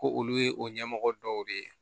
Ko olu ye o ɲɛmɔgɔ dɔw de ye